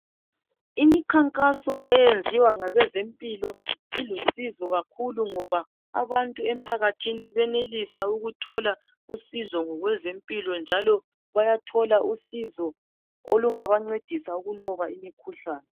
imikhankaso eyenzwa ngabezempilo ilusizo ngoba abantu emphakathini venelisa ukuthola usizo ngezempilo njalo bayathola usizo olungabenceda ngokunqoba imikhuhlane